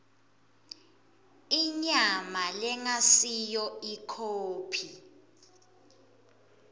inyama lengasiyo ikhophi